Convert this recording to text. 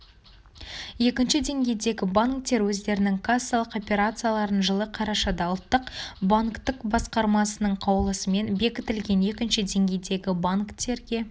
екінші деңгейдегі банктер өздерінің кассалық операцияларын жылы қарашада ұлттық банктің басқармасының қаулысымен бекітілген екінші деңгейдегі банктерге